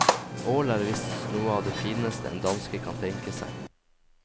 Ål er visst noe av det fineste en danske kan tenke seg.